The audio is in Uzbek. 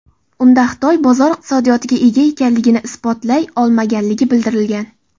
Unda Xitoy bozor iqtisodiyotiga ega ekanligini isbotlay olmaganligi bildirilgan.